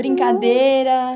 Brincadeira?